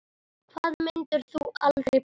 Hvað myndir þú aldrei borða?